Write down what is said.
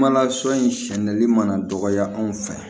Kuma lasurunya sɛnɛnli mana dɔgɔya anw fɛ yan